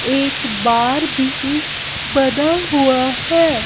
एक बार भी बना हुआ है।